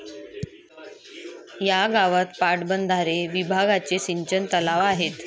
या गावात पाटबंधारे विभागाचे सिंचन तलाव आहेत